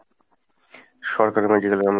সরকারি medical এ আমি।